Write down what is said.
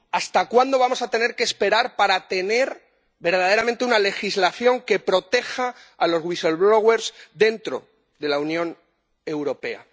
¿Hasta cuándo vamos a tener que esperar para tener verdaderamente una legislación que proteja a los dentro de la Unión Europea?